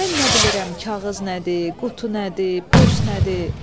Mən nə bilirəm kağız nədir, qutu nədir, poş nədir?